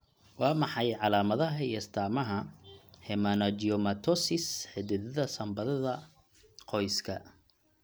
Waa maxay calaamadaha iyo astaamaha Hemangiomatosis, xididdada sambabada qoyska?